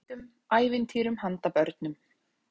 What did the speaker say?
Orð úr bókum og bíómyndum, ævintýrum handa börnum.